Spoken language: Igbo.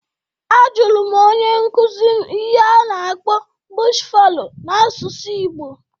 A jụrụ m onye nkuzi m ihe a na-akpọ "bush fallow" n'asụsụ igbo